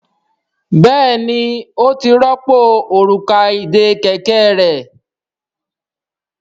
Béèni o tí yí pàdà Òrùka ìdè kẹ̀kẹ́ rẹ.